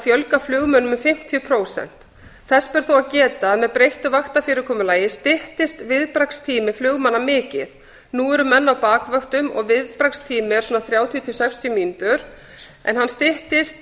fjölga flugmönnum um fimmtíu prósent þess ber þó að geta að með breyttu vaktafyrirkomulagi styttist viðbragðstími flugmanna mikið nú eru menn á bakvöktum og viðbragðstími er þrjátíu til sextíu mínútur en hann styttist